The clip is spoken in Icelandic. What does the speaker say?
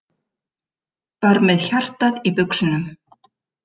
Var með hjartað í buxunum